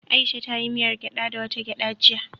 Aisha ta yi miyar gyada da wata gyada jiya.